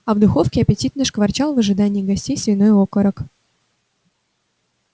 а в духовке аппетитно шкварчал в ожидании гостей свиной окорок